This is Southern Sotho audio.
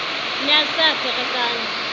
ne a se a ferekane